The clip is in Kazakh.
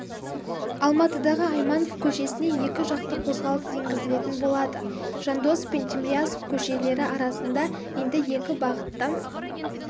алматыдағы айманов көшесіне екі жақты қозғалыс енгізілетін болады жандосов пен тимирязев көшелері арасында енді екі бағытта